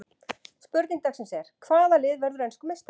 Spurning dagsins er: Hvaða lið verður enskur meistari?